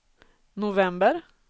november